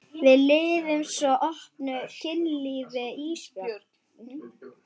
Við lifum svo opnu kynlífi Ísbjörg.